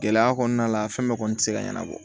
Gɛlɛya kɔnɔna la fɛn bɛɛ kɔni tɛ se ka ɲɛnabɔ